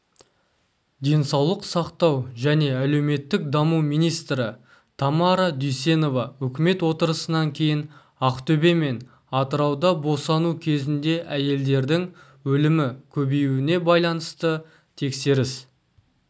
денсаулық сақтау және әлеуметтік даму министрі тамара дүйсенова үкімет отырысынан кейін ақтөбе мен атырауда босану кезінде әйелдердің өлімі көбеюіне байланысты тексеріс